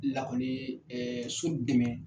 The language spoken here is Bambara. Lakɔli ɛɛ so dɛmɛ.